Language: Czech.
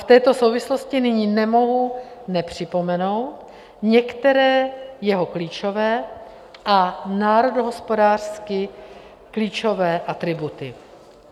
V této souvislosti nyní nemohu nepřipomenout některé jeho klíčové a národohospodářsky klíčové atributy.